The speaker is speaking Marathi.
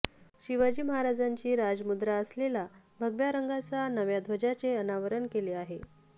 शिवाजी महाराजांची राजमुद्रा असलेला भगव्या रंगाचा नव्या ध्वजाचं अनावरण केलं आहे